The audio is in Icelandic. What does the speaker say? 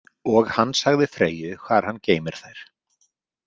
Og hann sagði Freyju hvar hann geymir þær.